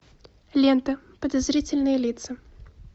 лента подозрительные лица